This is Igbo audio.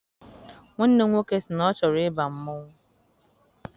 Nwanne m nwoke sị na ọ chọrọ ịba mmanwụ.